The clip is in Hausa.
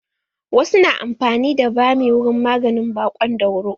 Wasu na amfani da bami wurin maganin baƙon dauro.